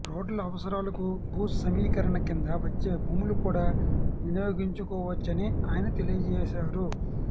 రోడ్ల అవసరాలకు భూ సమీకరణ కింద వచ్చే భూములు కూడా వినియోగించుకోవచ్చని ఆయన తెలియచేశారు